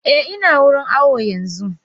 Eh ina wurin awo yanzu.